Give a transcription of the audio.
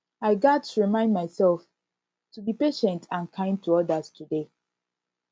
i gats remind myself to be patient and kind to odas today